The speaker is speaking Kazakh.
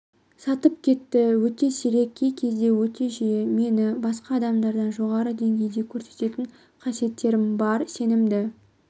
сатып кетті өте сирек кей-кезде өте жиі мені басқа адамдардан жоғары деңгейде көрсететін қасиетім бар сенімді